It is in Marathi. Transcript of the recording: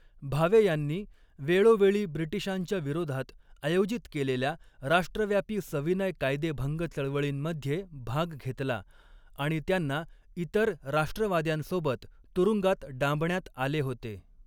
भावे यांनी वेळोवेळी ब्रिटिशांच्या विरोधात आयोजित केलेल्या राष्ट्रव्यापी सविनय कायदेभंग चळवळींमध्ये भाग घेतला आणि त्यांना इतर राष्ट्रवाद्यांसोबत तुरुंगात डांबण्यात आले होते.